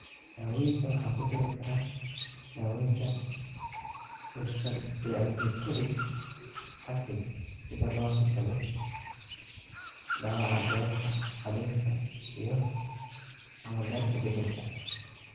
Daaweynta waxaa ku jiri kara daawaynta ursodeoxycholic acid si looga hortago dhaawaca beerka, qaliinka iyo/ama beerka bedelka.